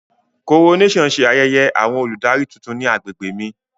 Coronation ṣe ayẹyẹ awọn oludari titun ni agbegbe mi.